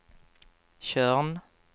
Tjörn